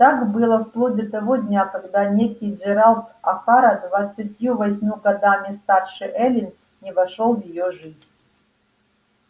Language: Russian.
так было вплоть до того дня когда некий джералд охара двадцатью восемью годами старше эллин не вошёл в её жизнь